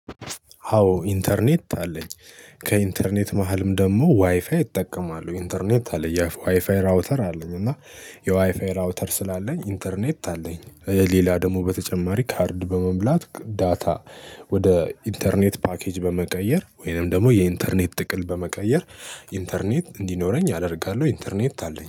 አዎ ኢንተርኔት አለኝ። ከኢንተርኔት መሃልም ደግሞ ዋይፋይ ይጠቀማሉ ኢንተርኔት አለ ያ ዋይፋይ ራውተር አለኝ እና የዋይፋይ ራውተር ስላለኝ ኢንተርኔት አለኝ። ሌላ ደግሞ በተጨማሪ ካርድ በመሙላት ዳታ። ወደ ኢንተርኔት ፓኬጅ በመቀየር ወይንም ደግሞ የኢንተርኔት ጥቅል በመቀየር ኢንተርኔት እንዲኖረኝ አደርጋለሁ። ኢንተርኔት አለኝ